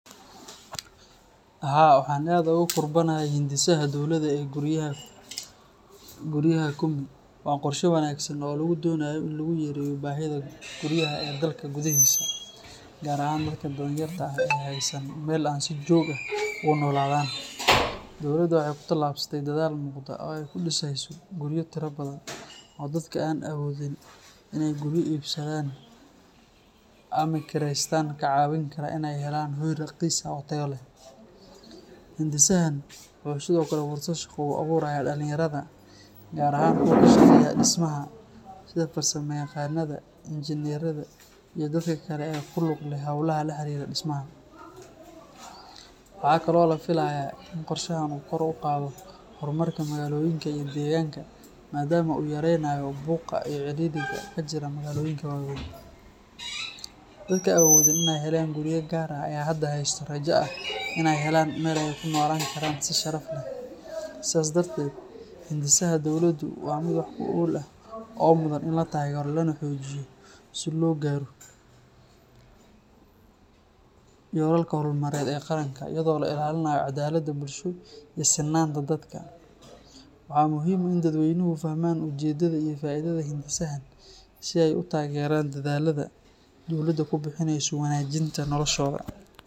Haa, waxaan aad u kurbanahay hindisaha dowladda ee guryaha Kumi. Waa qorshe wanaagsan oo lagu doonayo in lagu yareeyo baahida guryaha ee dalka gudihiisa, gaar ahaan dadka danyarta ah ee aan haysan meel ay si joogto ah ugu noolaadaan. Dowladda waxay ku tallaabsatay dadaal muuqda oo ay ku dhiseyso guryo tiro badan oo dadka aan awoodin inay guryo iibsadaan ama kireystaan ka caawin kara inay helaan hoy raqiis ah oo tayo leh. Hindisahan wuxuu sidoo kale fursad shaqo u abuurayaa dhalinyarada, gaar ahaan kuwa ka shaqeeya dhismaha sida farsamayaqaannada, injineerada, iyo dadka kale ee ku lug leh hawlaha la xiriira dhismaha. Waxaa kaloo la filayaa in qorshahan uu kor u qaado horumarka magaalooyinka iyo deegaanka, maadaama uu yareynayo buuqa iyo cidhiidhiga ka jira magaalooyinka waaweyn. Dadka aan awoodin in ay helaan guryo gaar ah ayaa hadda haysta rajo ah in ay helaan meel ay ku noolaan karaan si sharaf leh. Sidaas darteed, hindisaha dowladdu waa mid wax ku ool ah oo mudan in la taageero lana xoojiyo si loo gaaro yoolalka horumarineed ee qaranka, iyadoo la ilaalinayo caddaaladda bulsho iyo sinnaanta dadka. Waxaa muhiim ah in dadweynuhu fahmaan ujeedada iyo faa’iidada hindisahan si ay u taageeraan dadaallada dowladdu ku bixinayso wanaajinta noloshooda.